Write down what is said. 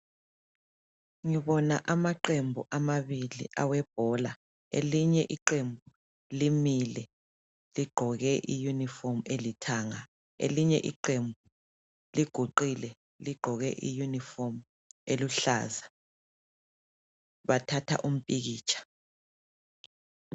Ngibona amaqembu amabili awebhola. Elinye iqembu limile ligqoke iyunifomu elithanga. Elinye iqembu liguqile ligqoke iyunifomu eluhlaza. Bathatha umpikitsha.